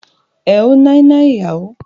Êàê òóò ñîâñåì íåò íè÷åãî.